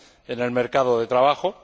en el mercado de trabajo.